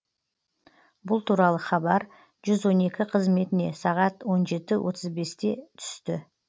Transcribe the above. бұл туралы хабар жүз он екі қызметіне сағат он жеті отыз бесте түсті